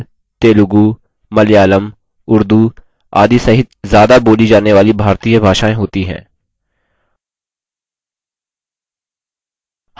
इसमें hindi kannada bengali gujarati tamil telugu malayalam urdu आदि सहित ज्यादा बोली जाने वाली भारतीय भाषाएँ होती हैं